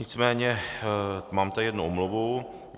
Nicméně tady mám jednu omluvu.